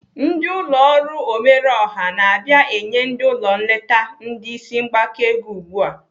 Ndị ụlọ ọrụ omerọọha na-abịa inye ndị ụlọ nleta ndị isi mgbaka ego ugbu a.